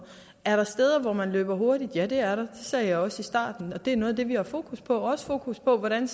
er der steder hvor man løber hurtigt ja det er det sagde jeg også i starten det er noget af det vi har fokus på også fokus på hvordan